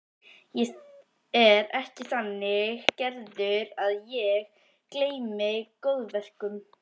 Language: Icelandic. Ég er ekki þannig gerður að ég gleymi góðverkum.